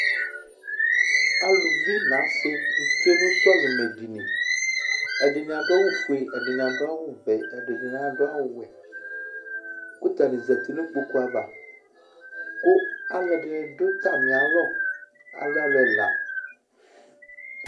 Aluvi nʋ asɩ tsue nʋ sɔlɩmɛdini Ɛdɩnɩ adʋ awʋfue, ɛdɩnɩ adʋ awʋvɛ, ɛdɩnɩ adʋ awʋwɛ kʋ atanɩ zati nʋ kpoku ava kʋ alʋɛdɩnɩ dʋ atamɩalɔ Alɛ alʋ ɛla